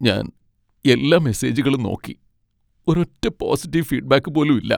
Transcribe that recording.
ഞാൻ എല്ലാ മെസേജുകളും നോക്കി, ഒരൊറ്റ പോസിറ്റീവ് ഫീഡ്ബാക്ക് പോലും ഇല്ല.